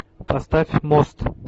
поставь мост